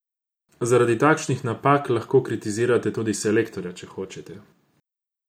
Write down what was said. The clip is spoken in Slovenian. Zaradi takšnih napak lahko kritizirate tudi selektorja, če hočete.